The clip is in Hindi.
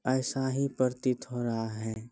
ऐसा ही प्रतीत हो रहा है।